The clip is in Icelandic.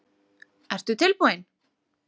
Ertu tilbúinn?